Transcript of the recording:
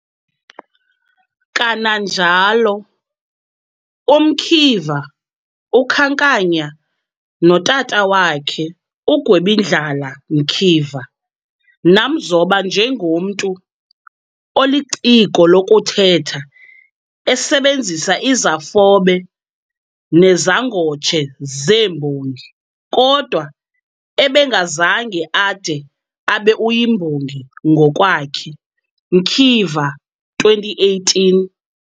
Kananjalo, uMkiva ukhankanya notata wakhe, uGwebindlala Mkiva, namzoba njengomntu "oliciko lokuthetha, esebenzisa izafobe nezangotshe zeembongi, kodwa ebengazange ade abe uyimbongi ngokwakhe", Mkiva, 2018.